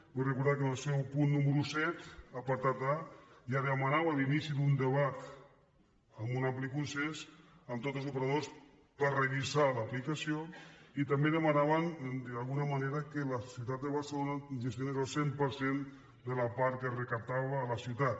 vull recordar que en el seu punt número set apartat a ja demanàvem l’inici d’un debat amb un ampli consens amb tots els operadors per revisar ne l’aplicació i també demanàvem d’alguna manera que la ciutat de barcelona gestionés el cent per cent de la part que es recaptava a la ciutat